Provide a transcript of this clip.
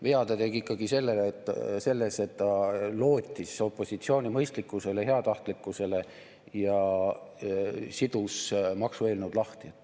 Vea ta tegi ikkagi selles, et ta lootis opositsiooni mõistlikkusele ja heatahtlikkusele ning sidus maksueelnõud lahti.